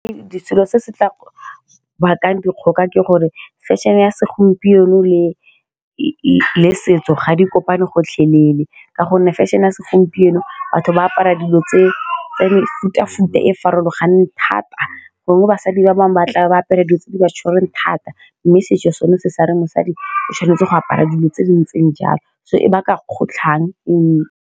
Selo se se tla bakang dikgoka ke gore fashion-e ya segompieno le setso ga di kopane gotlhelele, ka gonne feshion-e ya segompieno batho ba apara dilo tsa mefuta futa e e farologaneng thata, gongwe basadi ba bangwe ba tlabe ba apere dingwe tse di ba tshwereng thata mme setso sone se share mosadi o tshwanetse go apara dilo tse di ntseng jalo so e baka kgotlhang e.